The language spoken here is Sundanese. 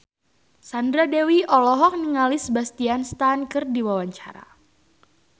Sandra Dewi olohok ningali Sebastian Stan keur diwawancara